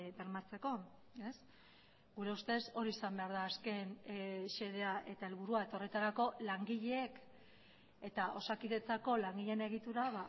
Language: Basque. bermatzeko gure ustez hori izan behar da azken xedea eta helburua eta horretarako langileek eta osakidetzako langileen egitura